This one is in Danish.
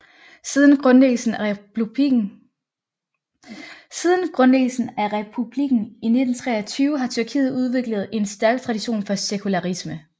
Siden grundlæggelsen af republikken i 1923 har Tyrkiet udviklet en stærk tradition for sekularisme